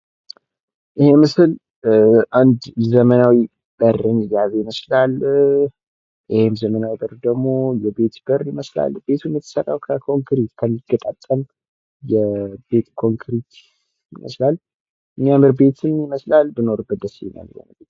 ይህ ምስል አንድ ዘመናዊ በርን የያዘ ይመስላል ።ይህም ዘመናዊ በር ደግሞ የቤት በር ይመስላል ። ።የተሰራው ከኮንክሪት ከሚገጣጠም የቤት ኮንክሪት ይመስላል ።የሚያምር ቤትም ይመስላል ብኖርበት ደስ ይለኛል ።